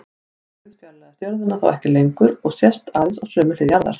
Tunglið fjarlægist jörðina þá ekki lengur og sést aðeins á sömu hlið jarðar.